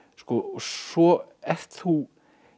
svo ert þú